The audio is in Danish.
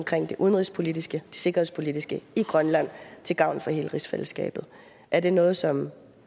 det udenrigspolitiske det sikkerhedspolitiske i grønland til gavn for hele rigsfællesskabet er det noget som